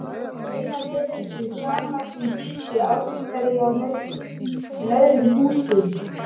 Raunar virðist sem samvaxin dýr séu algengari hjá nautgripum en öðrum húsdýrum.